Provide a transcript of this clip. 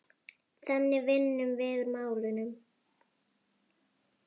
Þannig vinnum við úr málunum